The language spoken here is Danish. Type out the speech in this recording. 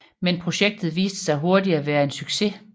Men projektet viste sig hurtigt at være en succes